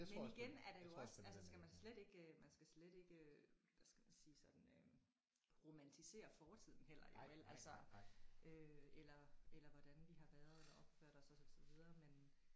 Men igen er det jo også altså skal man så slet ikke øh man skal slet ikke øh hvad skal man sige sådan øh romantisere fortiden heller jo vel altså øh eller eller hvordan vi har været eller opført os og så videre men